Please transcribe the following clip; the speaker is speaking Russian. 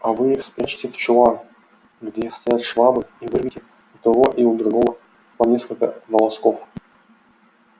а вы их спрячьте в чулан где стоят швабры и выньте у того и у другого по нескольку волосков